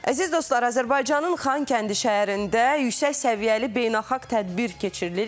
Əziz dostlar, Azərbaycanın Xankəndi şəhərində yüksək səviyyəli beynəlxalq tədbir keçirilir.